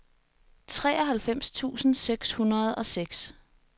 treoghalvfems tusind seks hundrede og seks